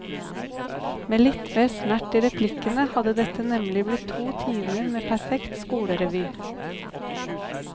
Med litt mer snert i replikkene hadde dette nemlig blitt to timer med perfekt skolerevy.